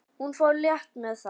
Hún fór létt með það.